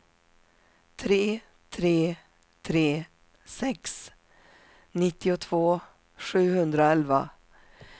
tre tre tre sex nittiotvå sjuhundraelva